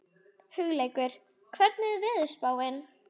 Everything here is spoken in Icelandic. Hugleikur, hvernig er veðurspáin?